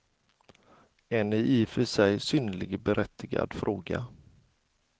En i och för sig synnerligen berättigad fråga.